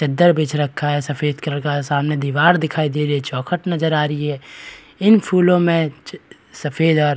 चद्दर बछ रखा है सफेद कलर का सामने दीवार दिखाई दे रही है चौखट नजर आ रही है इन फूलों में सफेद और --